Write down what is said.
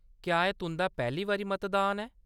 क्या एह्‌‌ तुंʼदा पैह्‌ली बारी मतदान ऐ ?